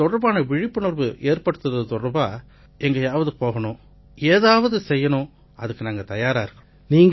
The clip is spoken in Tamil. இது தொடர்பான விழிப்புணர்வு ஏற்படுத்தறது தொடர்பா எங்கயாவது போகணும் ஏதாவது செய்யணும்னா நாங்க அதுக்கு தயாரா இருக்கோம்